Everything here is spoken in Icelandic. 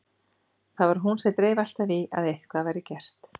Það var hún sem dreif alltaf í að eitthvað væri gert.